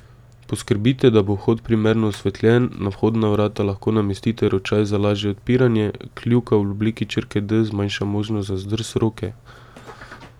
Poskrbite, da bo vhod primerno osvetljen, na vhodna vrata lahko namestite ročaj za lažje odpiranje, kljuka v obliki črke D zmanjša možnost za zdrs roke.